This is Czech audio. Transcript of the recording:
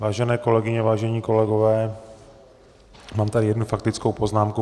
Vážené kolegyně, vážení kolegové, mám tady jednu faktickou poznámku.